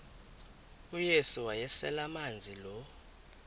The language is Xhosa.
uyesu wayeselemazi lo